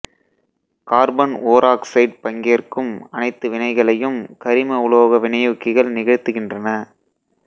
carbon ஓராக்சைடு பங்கேற்கும் அனைத்து வினைகளையும் கரிம உலோக வினையூக்கிகள் நிகழ்த்துகின்றன